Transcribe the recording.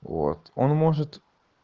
вот он может